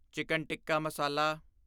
chicken tikka ਮਸਾਲਾ